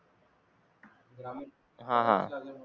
grammar